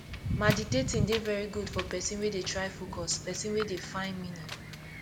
maditating de very good for person wey dey try focus person wey dey find meaning